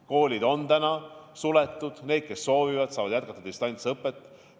Koolid on suletud, aga need, kes soovivad, saavad jätkata distantsõpet.